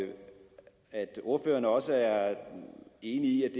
og at ordføreren også er enig i at